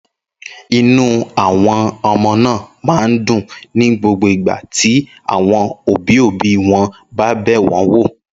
Inú àwọn ọmọ náà máa ń dùn ní gbogbo ìgbà tí àwọn òbí-òbí wọn bá bẹ̀ wọ́n wò.